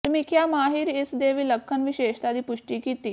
ਸਮੀਖਿਆ ਮਾਹਿਰ ਇਸ ਦੇ ਵਿਲੱਖਣ ਵਿਸ਼ੇਸ਼ਤਾ ਦੀ ਪੁਸ਼ਟੀ ਕੀਤੀ